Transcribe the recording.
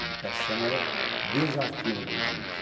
Educação é desafio no Brasil hoje.